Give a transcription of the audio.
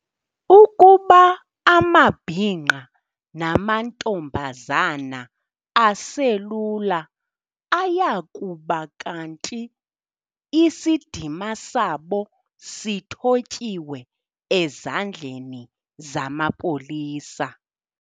Ukuba amabhinqa namantombazana aselula ayakuba kanti isidima sabo sithotyiwe ezandleni zamapolisa.